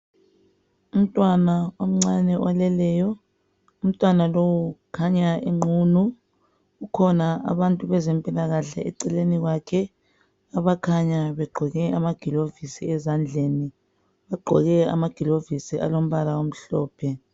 Umntwana omncane oleleyo. Umntwana lowu ukhanya enqunu kukhona abantu bezempilakahle eceleni kwakhe abakhanya begqoke amagilovisi ezandleni. Bagqoke amagilovisi alombala omhlophe.